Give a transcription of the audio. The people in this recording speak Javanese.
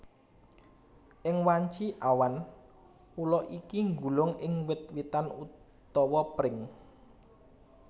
Ing wanci awan ula iki nggulung ing wit witan utawa pring